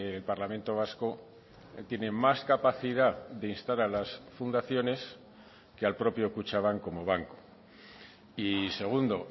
el parlamento vasco tiene más capacidad de instar a las fundaciones que al propio kutxabank como banco y segundo